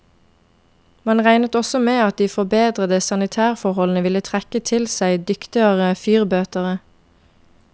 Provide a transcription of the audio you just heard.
Man regnet også med at de forbedrede sanitærforholdene ville trekke til seg dyktigere fyrbøtere.